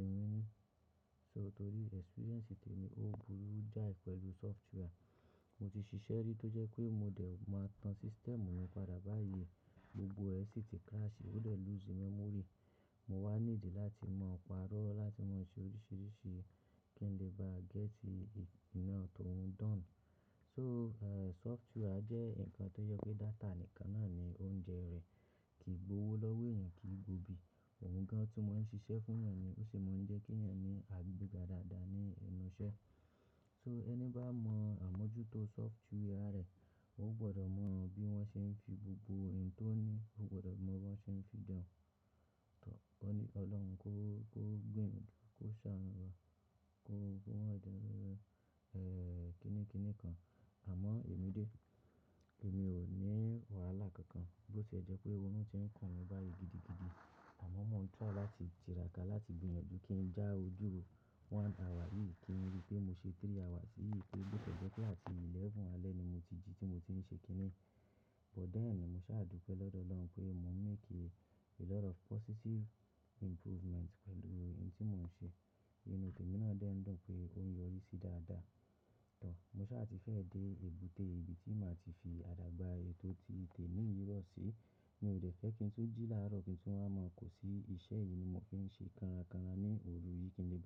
èmi ní. So torí experience tí èmi ó burú jáì pẹ̀lú software. Mo ti ṣiṣẹ́ rí tó jẹ́ pé mo dẹ̀ máa tan system mi padà báyìí, gbogbo rẹ̀ sì ti crash, ó dẹ̀ lose memory. Mo wá ní ìdí láti máa parọ́ láti máa ṣe oríṣìíríṣìí kí n lè bá gẹ́tì iná tó oùń dọ̀ne. So, ẹ́ẹ̀, software jẹ́ nǹkan tó yẹ pé data nìkan náà ni oúnjẹ rẹ̀ kì í gbówó lọ́wọ́ èèyàn kì í gbó bí. Òun gan-an tí wọ́n ń ṣiṣẹ́ fún èèyàn ni ó sì máa ń jẹ́ kí èèyàn ní agbega dáadáa ní inú iṣẹ́. So ẹni bá mọ àmójútó software rẹ̀, ó gbọdọ̀ mọ bí wọ́n ṣe ń fi gbogbo ohun tó ní, ó gbọdọ̀ mọ bí wọ́n ṣe ń fi dè ọ́n. Tọ, kó ní Ọlọ́run kó, kó gbìyànjú, kó ṣànú wà, kó fún wọn dẹ́rùnrun, ẹ́ẹ̀, kini kini kan. Àmọ́ èmi dé, èmi ò ní wàhálà kankan bó tiè jẹ́ pé ooru ti ń kàn mi báyìí gidigidi. Àmọ́ mo ń try láti jìrákà láti gbìyànjú kí n já ojú one hour yìí kí n rí pé mo ṣe three hours sí èyí pé bó ti jẹ́ pé láti mọ́kànlá alẹ́ ni mo ti jí tí mo ti ń ṣe kíní. But then ni mo sáà dùpẹ́ lọ́dọ̀ Ọlọ́run pé mò ń make a lot of positive improvement pẹ̀lú ohun tí mò ń ṣe. Ìnu témi náà dẹ̀ ń dùn pé ó ń yọrí sí dáadáa. Tọ, mo sá à ti fẹ́ dé èbúté ibi tí màá ti fi àdágbà ayé tó ti tẹ̀ mí yìí lọ sí. Mi ò dẹ̀ fẹ́ kí n tún jí láàárọ̀ kí n tún wá màà kó sí iṣẹ́ yìí ni mo fi ń ṣe kanra kanra ní òru yìí kí n lè bá.